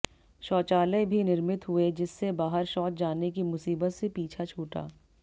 शौचालय भी निर्मित हुए जिससे बाहर शौच जाने की मुसीबत से पीछा छूटा